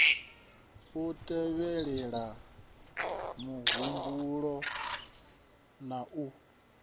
u tevhelela muhumbulo na u